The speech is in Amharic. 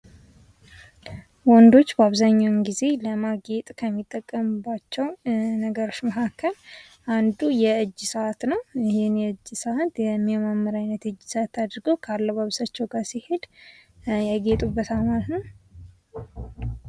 ወንዶች በአብዛኛውን ጊዜ ለማጌጥ ከሚጠቀሙባቸው ነገሮች መካከል አንዱ የእጅ ሰአት ነው። ይህን የእጅ ሰአት የሚመረምር አይነት የእጅ ሰአት አድርገው ከአለባበሳቸው ጋር ሲሄድ ያጌጡበታል ማለት ነው።